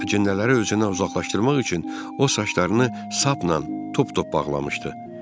Əcinləri özündən uzaqlaşdırmaq üçün o saçlarını sapla tuptup bağlamışdı.